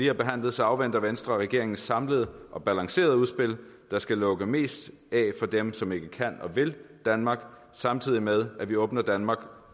har behandlet afventer venstre regeringens samlede og balancerede udspil der skal lukke mest af for dem som ikke kan og vil danmark samtidig med at vi åbner danmark